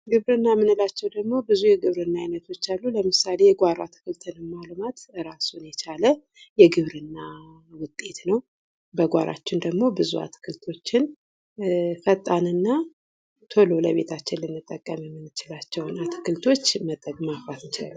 ግብርና የምንላቸዉ ደግሞ ብዙ የግብርና አይነቶች አሉ። ለምሳሌ የጓሮ አትክልትን ማልማት እራሱን የቻለ የግብርና ዉጤት ነዉ። በጓሯችን ደግሞ ብዙ አትክልቶችን ፈጣን እና ቶሎ ለቤታችን ልንጠቀም የምንችላቸዉን አትክልቶች ማፍላት እንችላለን።